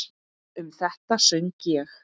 Um þetta söng ég